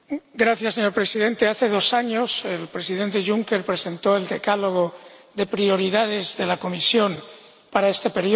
Señor Presidente, hace dos años el Presidente Juncker presentó el decálogo de prioridades de la Comisión para este período.